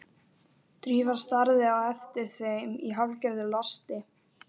Drífa starði á eftir þeim í hálfgerðu losti.